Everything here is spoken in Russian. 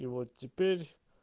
и вот теперь